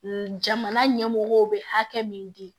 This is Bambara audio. Jamana ɲɛmɔgɔw bɛ hakɛ min di